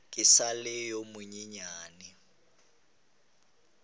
ke sa le yo monyenyane